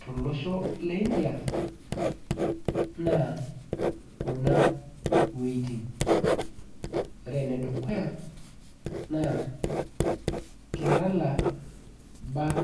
tolosho le India, naa kuna wuejiting. Ore enedukuya naa, Kerala back